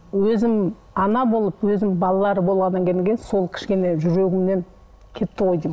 өзім ана болып өзім балалар болғаннан кейін сол кішкене жүрегімнен кетті ғой деймін